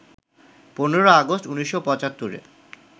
১৫ August ১৯৭৫-এ